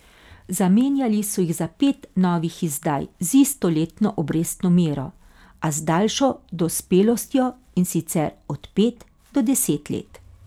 Zamenjali so jih za pet novih izdaj z isto letno obrestno mero, a z daljšo dospelostjo, in sicer od pet do deset let.